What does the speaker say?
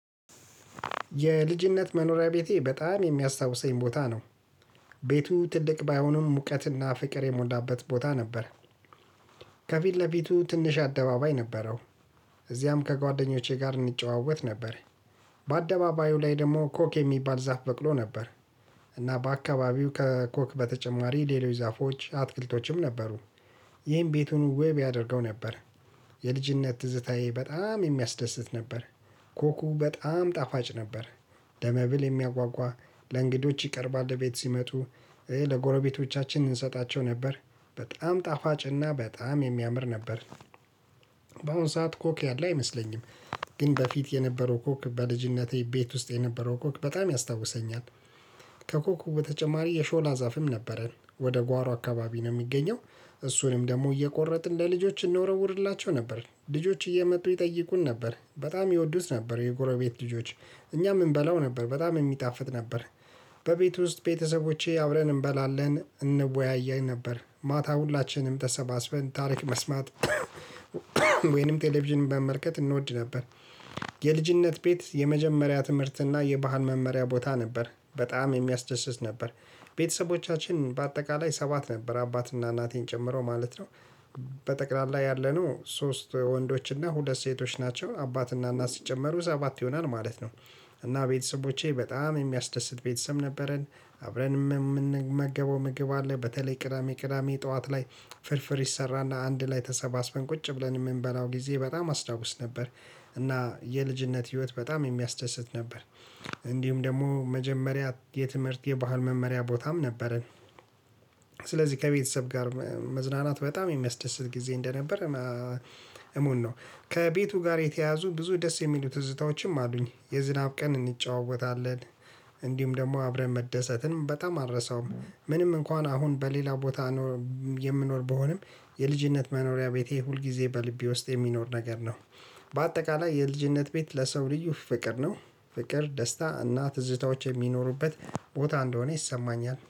የልጅነት መኖሪያ ቤቴ በጣም የሚያስታውሰኝ ቦታ ነው። ቤቱ ትልቅ ባይሆንም ሙቀት እና ፍቅር የሞላበት ቦታ ነበር። ከፊት ለፊቱ ትንሽ አደባባይ ነበረው። እዚያም ከጓደኞቼ ጋር እንጨዋወት ነበር። በአደባባዩ ላይ ደግሞ ኮክ የሚባል ዛፍ በቅሎ ነበር። እና በአካባቢው ከኮክ በተጨማሪ ሌሎች ዛፎች አትክልቶችም ነበሩ። ይሄን ቤቱን ውብ ያደርገው ነበር። የልጅነት ትዝታዬ በጣም የሚያስደስት ነበር። ኮኩ በጣም ጣፋጭ ነበር። ለመብል የሚያጓጓ ለእንግዶዎች ይቀርባል ቤት ሲመጡ ለጎረቤቶቻችን እንሰጣቸው ነበር። በጣም ጣፋጭ እና በጣም የሚያምር ነበር። በአሁን ሰዓት ኮክ ያለ አይመስለኝም። ግን በፊት የነበረው ኮክ በልጅነቴ ቤት ውስጥ የነበረው ኮክ በጣም ያስታውሰኛል። ከኮኩ በተጨማሪ የሾላ ዛፍም ነበረን። ወደ ጓሮ አካባቢ ነው የሚገኘው። እሱ ወይም ደግሞ እየቆረጥን ለልጆች እንወረውርላቸው ነበር። ልጆች እየመጡ ይጠይቁን ነበር። በጣም ይወዱት ነበር የጎረቤት ልጆች። እኛም እንበላው ነበር በጣም የሚጣፍጥ ነበር። በቤት ውስጥ ቤተሰቦቼ አብረን እንበላለን እንወያይ ነበር። ማታ ሁላችንም ተሰባስበን ታሪክ መስማት ወይንም ቴሌቪዥን መመልከት እንወድ ነበር። የልጅነት ቤት የመጀመሪያ ትምህርት እና የባህል መመሪያ ቦታ ነበር። በጣም የሚያስደስት ነበር ቤተሰቦቻችን በአጠቃላይ ሰባት ነበር አባት እና እናቴን ጨምሮ ማለት ነው። በጠቅላላ ያለነው ሶስት ወንዶችና ሁለት ሴቶች ናቸው አባትና እናት ሲጨመሩ ሰባት ይሆናል ማለት ነው። እና ቤተሰቦቼ በጣም የሚያስደስት ቤተሰብ ነበረን። አብረን የምንመገበው ምግብ አለ። በተለይ ቅዳሜ ቅዳሜ ጠዋት ላይ ፍርፍር ይሰራና አንድ ላይ ተሰባስበን ቁጭ ብለን የምንበላው ጊዜ በጣም አስታውስ ነበር። እና የልጅነት ህይወት በጣም የሚያስደስት ነበር። እንዲሁም ደግሞ መጀመሪያ የትምህርት የባህል መመሪያ ቦታም ነበረን። ስለዚህ ከቤተሰብ ጋር መዝናናት በጣም የሚያስደስት ጊዜ እንደነበረን እሙን ነው። ከቤቱ ጋር የተያያዙ ብዙ ደስ የሚሉ ትዝታዎችም አሉኝ። የዝናብ ቀን እንጨዋወታለን እንዲሁም ደግሞ አብረን መደሰትን በጣም አልረሳውም፤ ምንም እንኳን አሁን በሌላ ቦታ የምኖር ብሆንም የልጅነት መኖሪያ ቤቴ ሁልጊዜ በልቤ ውስጥ የሚኖር ነገር ነው። በአጠቃላይ የልጅነት ቤት ለሰው ልዩ ፍቅር ነው። ፍቅር ደስታ እና ትዝታዎች የሚኖሩበት ቦታ እንደሆነ ይሰማኛል።